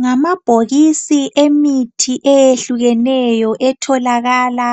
Ngamabhokisi emithi eyehlukeneyo etholakala